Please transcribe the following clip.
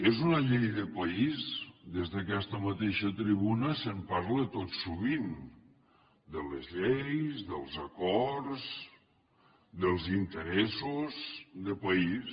és una llei de país des d’aquesta mateixa tribuna se’n parla tot sovint de les lleis dels acords dels interessos de país